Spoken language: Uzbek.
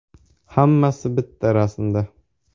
Hammasi bitta rasmda.